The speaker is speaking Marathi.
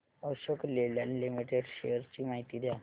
अशोक लेलँड लिमिटेड शेअर्स ची माहिती द्या